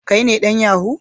Kai ne dan yahoo?